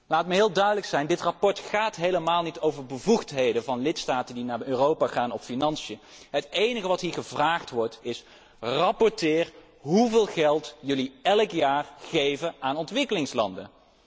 Laat me heel duidelijk zijn. Dit verslag gaat helemaal niet over bevoegdheden van lidstaten die naar Europa gaan of over financiën. Het enige wat hier gevraagd wordt is 'rapporteer hoeveel geld jullie elk jaar geven aan ontwikkelingslanden'.